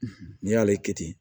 N'i y'ale kɛ ten